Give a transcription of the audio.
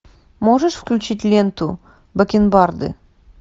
можешь включить ленту бакенбарды